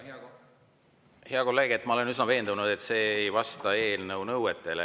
Hea kolleeg, ma olen üsna veendunud, et see ei vasta eelnõu nõuetele.